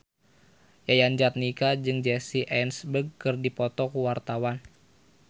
Yayan Jatnika jeung Jesse Eisenberg keur dipoto ku wartawan